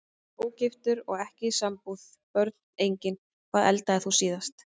Ógiftur og ekki í sambúð Börn: Engin Hvað eldaðir þú síðast?